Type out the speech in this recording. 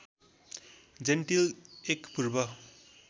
gentle एक पूर्व